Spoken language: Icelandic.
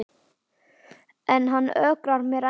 En hann ögrar mér ennþá.